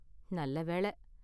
நல்ல வேள.